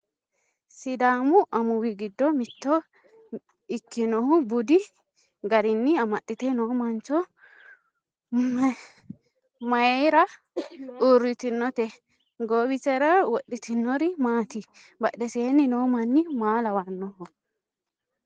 sidaamu amuwi giddo mitto ikkino budi garinni amaxxite noo mancho mayeera uurritinote? goowisera wodhitinori maati? badheseenni noo manni maa lawannoho?